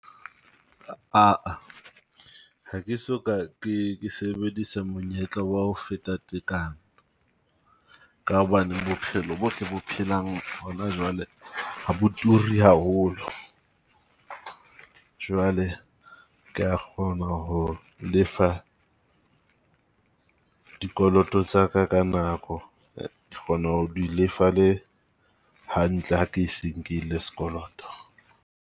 Ha ke so ka ke sebedisa monyetla wa ho feta tekanyo. Ka hobane bophelo bo re bo phelang hona jwale ha bo turi haholo. Jwale ke ya kgona ho lefa dikoloto tsa ka ka nako, ke kgona ho di lefa le hantle, ha ke se nkile sekoloto.